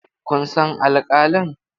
Kun san alƙalin?